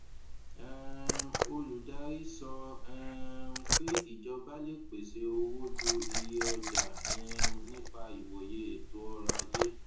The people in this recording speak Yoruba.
um olùdarí sọ um pé ìjọba lè pèsè owó ju iye ọjà um nípa ìwòye ètò ọrọ ajé